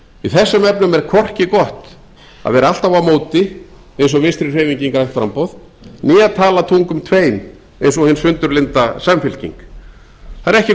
í þessum efnum er hvorki gott að vera alltaf á móti eins og vinstri hreyfingin grænt framboð né tala tungum tveim eins og hin sundurlynda samfylking það er ekki